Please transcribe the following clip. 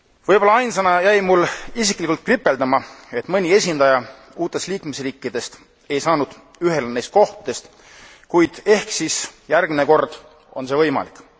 Võib olla ainsana jäi mul isiklikult kripeldama, et mõni esindaja uutest liikmesriikidest ei saanud ühele neist kohtadest, kuid ehk siis järgmine kord on see võimalik.